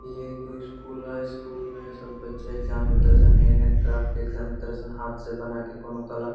इ एगो स्कूल हेय स्कूल में सब बच्चा एग्जाम हाथ से बना के कोनो कला।